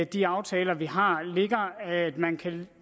de aftaler vi har ligger at man kan